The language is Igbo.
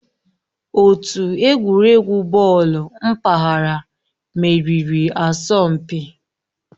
Otu egwuregwu bọọlụ mpaghara meriri asọmpi.